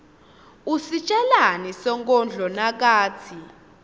kusitjelani sonkondlo nakatsi